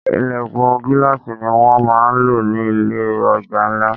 Ìlẹ̀kùn gíláàsì ní wón máa ń lò ní ilé ọjà ńlá.